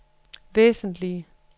væsentlige